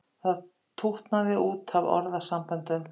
Það tútnaði út af orðasamböndum.